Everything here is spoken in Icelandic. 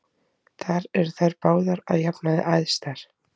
Þar eru þær báðar að jafnaði æðstar.